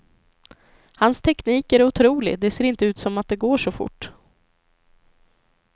Hans teknik är otrolig, det ser inte ut som att det går så fort.